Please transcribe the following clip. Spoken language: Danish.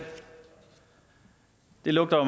lugter